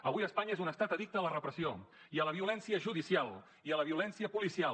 avui espanya és un estat addicte a la repressió i a la violència judicial i a la violència policial